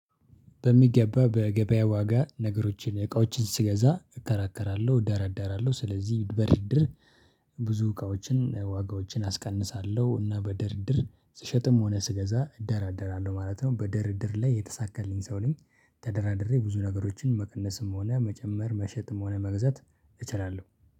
በሚገባ በገበያ ዋጋ ነገሮችን እቃዎችን ስገዛ እከራከራለሁ እደራደራለሁ ስለዚህ በድርድር ብዙ እቃዎችን ዋጋዎችን አስቀንሳለሁ እና በድርድር ስሸጥም ሆነ ስገዛ እደራደራለሁ ማለት ነው። በድርድር ላይ የተሳካልኝ ሰው ነኝ። ተደራድሬ ብዙ ነገሮችን መቀነስም ሆነ መጨመር መሸጥም ሆነ መግዛት እችላለሁ።